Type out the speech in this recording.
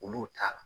Olu t'a la